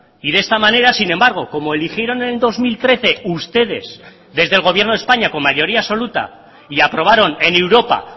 y de esta manera sin embargo como eligieron en el dos mil trece ustedes desde el gobierno de españa con mayoría absoluta y aprobaron en europa